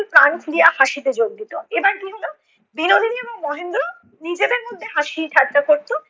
প্রাণ দিয়া হাসিতে যোগ দিতো। এবার কী হলো, বিনোদিনী এবং মহেন্দ্র নিজেদের মধ্যে হাসি ঠাট্টা করতো।